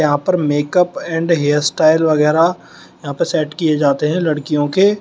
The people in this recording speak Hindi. यहां पर मेकअप एंड हेयरस्टाइल वगैरा यहां पे सेट किए जाते हैं लड़कियों के।